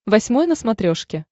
восьмой на смотрешке